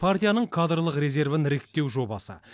партияның кадрлық резервін іріктеу жобасы